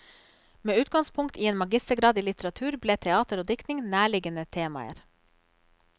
Med utgangspunkt i en magistergrad i litteratur ble teater og diktning nærliggende temaer.